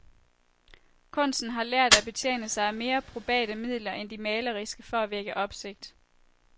Kunsten har lært at betjene sig af mere probate midler end de maleriske for at vække opsigt.